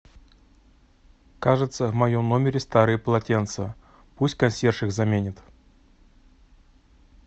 кажется в моем номере старые полотенца пусть консьерж их заменит